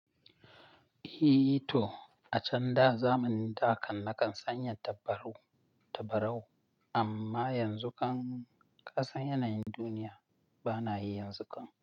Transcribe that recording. E to, a can da zamanin da kan na kan sanya tabarau, tabarau amma yanzu kan ƙasan yanayin duniya ba na yi yanzu kan.